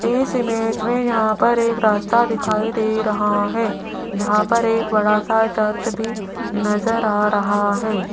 इस इमेज में यहां पर एक रास्ता दिखाई दे रहा है जहां पर एक बड़ा सा चर्च भी नजर आ रहा है।